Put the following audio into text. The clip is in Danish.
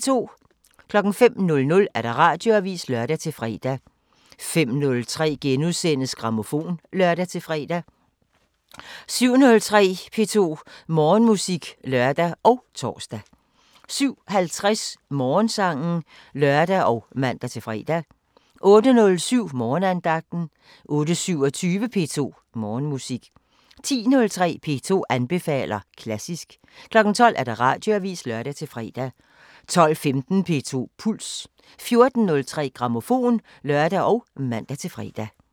05:00: Radioavisen (lør-fre) 05:03: Grammofon *(lør-fre) 07:03: P2 Morgenmusik (lør og tor) 07:50: Morgensangen (lør og man-fre) 08:07: Morgenandagten 08:27: P2 Morgenmusik 10:03: P2 anbefaler klassisk 12:00: Radioavisen (lør-fre) 12:15: P2 Puls 14:03: Grammofon (lør og man-fre)